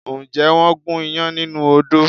Ǹjẹ́ wọ́n gún iyán nínú odó?